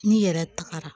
N'i yɛrɛ tagara